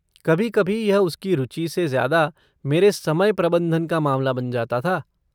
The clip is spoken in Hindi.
कभी कभी यह उसकी रुचि से ज्यादा मेरे समय प्रबन्धन का मामला बन जाता था।